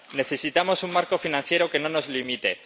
Necesitamos un marco financiero que no nos limite.